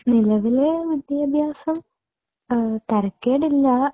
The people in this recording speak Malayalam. നിലവിലെ വിദ്യാഭ്യാസം തരക്കേടില്ല.